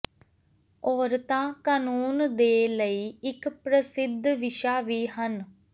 ਔਰਤਾਂ ਕਾਨੂੰਨ ਦੇ ਲਈ ਇਕ ਪ੍ਰਸਿੱਧ ਵਿਸ਼ਾ ਵੀ ਹਨ